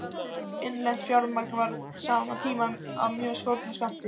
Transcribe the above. Innlent fjármagn var á sama tíma af mjög skornum skammti.